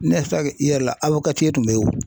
tun bɛ yen o